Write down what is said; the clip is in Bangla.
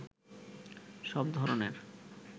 সব ধরনের